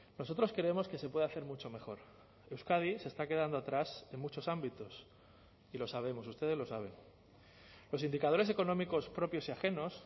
nosotros creemos que se puede hacer mucho mejor euskadi se está quedando atrás en muchos ámbitos y lo sabemos ustedes lo saben los indicadores económicos propios y ajenos